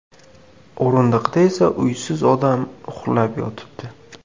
O‘rindiqda esa uysiz odam uxlab yotibdi.